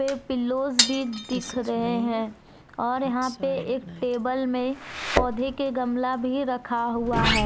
ए pillows भी दिख रहे हैं और यहां पे एक टेबल में पौधे के गमला भी रखा हुआ है।